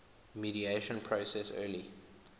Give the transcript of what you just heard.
mediation process early